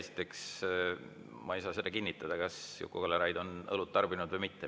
Esiteks, ma ei saa seda kinnitada, kas Juku-Kalle Raid on õlut tarbinud või mitte.